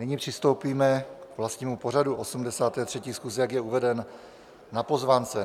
Nyní přistoupíme k vlastnímu pořadu 83. schůze, jak je uveden na pozvánce.